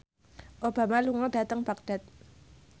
Obama lunga dhateng Baghdad